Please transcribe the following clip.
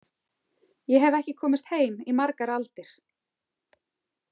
Ég hef ekki komist heim í margar aldir.